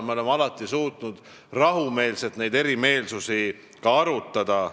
Me oleme alati suutnud rahumeelselt neid erimeelsusi ka arutada.